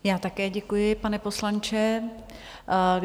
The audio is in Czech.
Já také děkuji, pane poslanče.